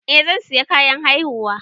Eh zan sayi kayan haihuwa.